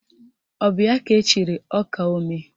Ọ bụ ya ka echiri ọkaomee?